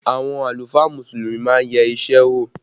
Àwọn àlùfáà Mùsùlùmí má ń yẹ isẹ wò